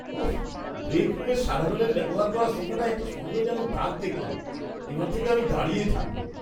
উঃ, ব্রেক রুমের সাধারণের ব্যবহার করা সোফাটায় একটা সন্দেহজনক দাগ দেখলাম। এবার থেকে আমি দাঁড়িয়ে থাকব।